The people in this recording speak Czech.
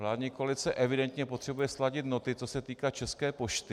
Vládní koalice evidentně potřebuje sladit noty, co se týká České pošty.